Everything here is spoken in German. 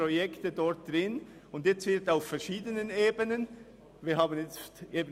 Und nun wird auf verschiedenen Ebenen gestrichen.